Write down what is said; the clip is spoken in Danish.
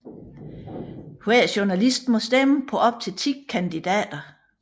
Hver journalist må stemme på op til 10 kandidater